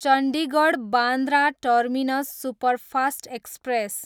Chandigarh, Bandra terminus superfast express